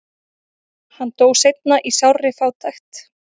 hann dó seinna í sárri fátækt